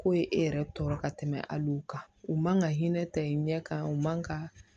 K'o ye e yɛrɛ tɔɔrɔ ka tɛmɛ hali u kan u man ka hinɛ ta i ɲɛ kan u man ka